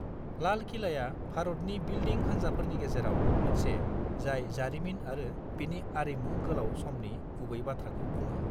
लाल किलाया भारतनि बिल्डिं हान्जाफोरनि गेजेराव मोनसे जाय जारिमिन आरो बिनि आरिमुनि गोलाव समनि गुबै बाथ्राखौ बुङो।